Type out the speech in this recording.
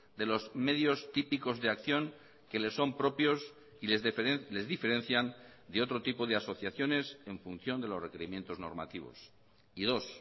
de los medios típicos de acción que le son propios y les diferencian de otro tipo de asociaciones en función de los requerimientos normativos y dos